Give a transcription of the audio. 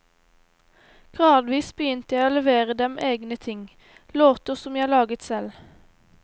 Gradvis begynte jeg å levere dem egne ting, låter som jeg laget selv.